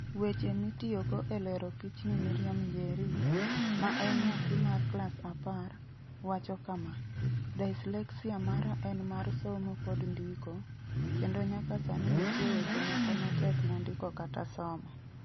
Weche mitiyogo e lero pichni Miriam Njeri, ma en nyathi mar klas apar, wacho kama: "Dyslexia mara en mar somo kod ndiko, kendo nyaka sani nitie weche moko ma tekna ndiko kata somo.